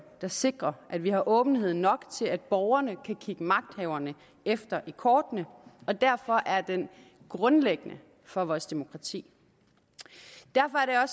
der sikrer at vi har åbenhed nok til at borgerne kan kigge magthaverne efter i kortene og derfor er den grundlæggende for vores demokrati derfor er